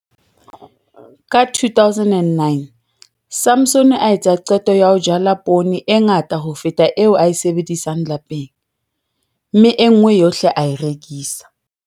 Ka 2009 Samson a etsa qeto ya ho jala poone e ngata ho feta eo a e sebedisang lapeng, mme e nngwe yohle a e rekisa.